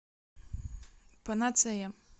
панацея